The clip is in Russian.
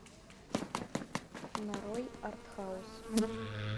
нарой артхаус